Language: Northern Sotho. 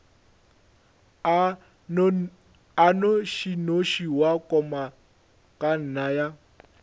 a nnošinoši wa komangkanna ya